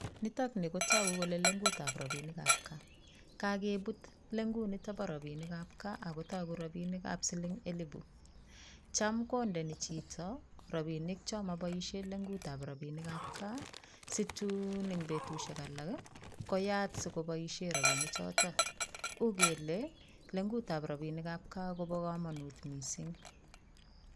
Nitok nii kotoku kelee leng'utab rabinikab kaa, kakebut leng'ut niton boo rabinikab kaa ak kotoku rabinikab siling elibu, chaam kondoi nii chito rabinik choon moboishen leng'utab rabinikab kaa situun en betushek alak koyat sikoboishen rabini choton, ukelee leng'utab rabinikab kaa kobo komonut mising.